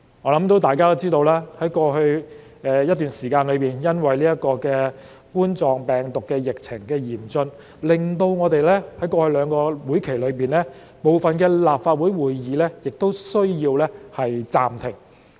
我相信大家都知道，在過去一段時間，因為冠狀病毒疫情嚴峻，我們在過去兩個會期內的部分立法會會議也需要暫停。